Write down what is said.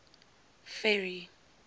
ferry